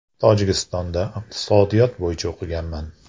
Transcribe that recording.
Tojikistonda iqtisodiyot bo‘yicha o‘qiganman.